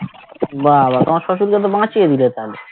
বা বা তোমার শশুরকে তো বাঁচিয়ে দিলে তাহলে